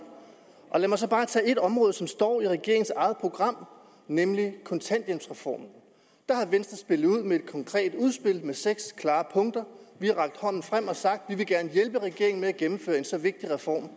lad mig bare tage et område som står i regeringens eget program nemlig kontanthjælpsreformen der har venstre spillet ud med et konkret udspil med seks klare punkter vi har rakt hånden frem og sagt at vi gerne vil hjælpe regeringen med at gennemføre en så vigtig reform